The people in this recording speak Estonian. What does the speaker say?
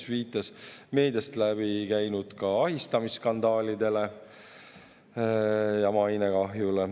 Ta viitas ka meediast läbi käinud ahistamisskandaalidele ja mainekahjule.